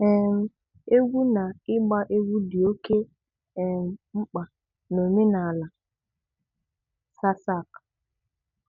um Égwú nà ị́gba Égwú dị̀ óké um mkpà nà Òménàlà Sasak